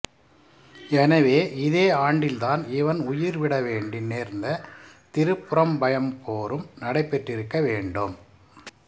எனவே இதே ஆண்டில்தான் இவன் உயிர்விட வேண்டி நேர்ந்த திருப்புறம்பயம் போரும் நடைபெற்றிருக்க வேண்டும்